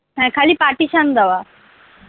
হ্যাঁ খালি partition দেওয়া